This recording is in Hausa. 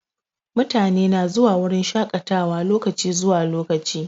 Mutane na zuwa wurin shaƙatawa lokaci zuwa lokaci.